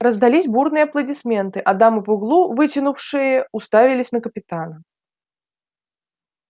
раздались бурные аплодисменты а дамы по углу вытянув шеи уставились на капитана